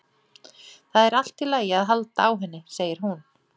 Það er allt í lagi að halda á henni segir hún.